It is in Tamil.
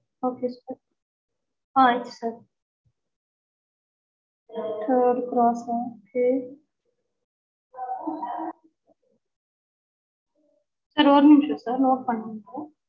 okay sir ah yes sir third cross okay sir ஒரு நிமிஷம் sir note பண்றேன் sir